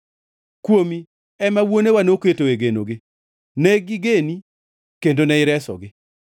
Kuomi ema wuonewa noketoe genogi; ne gigeni kendo ne iresogi.